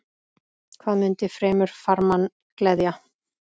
Hvað mundi fremur farmann gleðja?